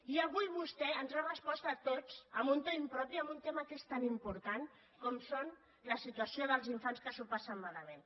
i avui vostè ens ha respost a tots amb un to impropi en un tema que és tan important com és la situació dels infants que s’ho passen malament